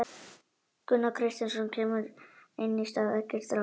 Gunnar Kristjánsson kemur inn í stað Eggerts Rafns.